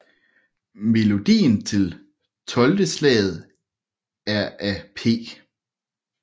Melodien til 12 Slaget er af P